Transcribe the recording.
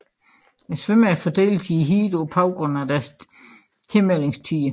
Svømmerne fordeles i heatene på baggrund af deres tilmeldingstider